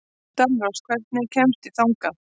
Dalrós, hvernig kemst ég þangað?